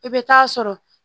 I bɛ taa sɔrɔ